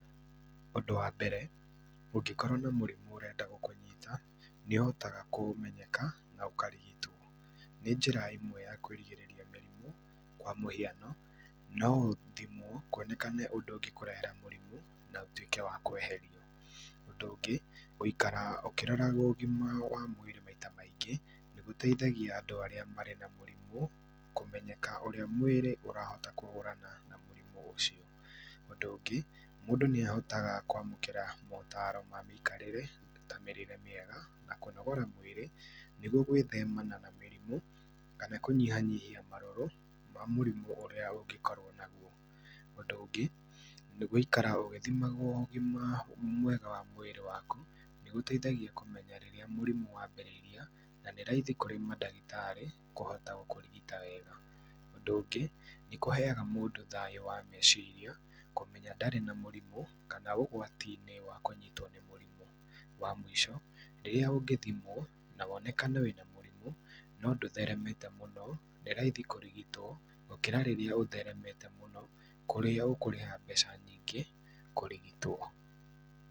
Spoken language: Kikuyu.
Ŭndŭ wa mbere, ŭngĩkorwo na mŭrimŭ ŭrenda gŭkŭnyita, niŭhotaga kŭmenyeka, na ŭkarigitwo nĩ njĩra ĩmwe ya kwĩrigĩrĩria mĩrimŭ, kwa mŭhiano, no ŭthimwo kŭonekane ŭndŭ ŭngĩkŭrehera mŭrimŭ na ŭtŭĩke wa kweherio, ŭndŭ ŭngĩ nĩgŭikara ŭkĩroragwo ŭgima wa mwĩrĩ maita maingĩ nĩgŭteithagia andŭ arĩa marĩ na mŭrimŭ kŭmenyeka ŭrĩa mwĩrĩ ŭrahota kŭhŭrana na mŭrimŭ ŭcio ŭndŭ ŭngĩ mŭndŭ nĩahotaga kwamŭkĩra maŭtaro mamĩikarĩre na mĩrĩre mĩega na kŭnogora mwĩrĩ nĩgŭo gwĩthemana na mĩrimŭ kana kŭnyihanyihia marŭrŭ ma mŭrimŭ ŭria ŭngĩkorwo nagŭo. Ŭndŭ ŭngĩ nĩ gŭikara ŭgĩthimagwo ŭgima mwega wa mwĩrĩ wakŭ nĩgŭteithagia kŭmenya rĩrĩa mŭrimŭ wambĩrĩria na nĩ raithi kŭrĩ madagĩtarĩ kŭhota kŭrigita wega . Ŭndŭ ŭngĩ nĩkŭheaga mŭndŭ thayŭ wa meciria kŭmenya darĩ na mŭrimŭ kana ŭgwatinĩ wa kŭnyitwo nĩ mŭrimŭ. Wa mŭico rĩrĩa ŭngĩthimwo na wonekane wĩna mŭrimŭ no dŭtheremete mŭno nĩ raithi kŭrigitwo gŭkĩra rĩrĩa ŭtheremete mŭno kŭrĩa ŭkŭrĩha mbeca nyingĩ, kŭrigitwo.